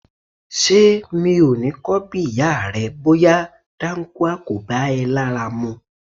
Ṣé mi ò ní ko bi ìyá rẹ bóyá dáńkúà kò bá ẹ lára mu?